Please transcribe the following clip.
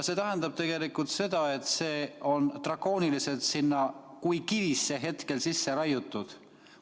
See tähendab tegelikult seda, et see on drakooniliselt sinna kui kivisse hetkel sisse raiutud.